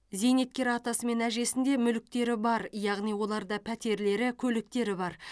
зейнеткер атасы мен әжесінде мүліктері бар яғни оларда пәтерлері көліктері бар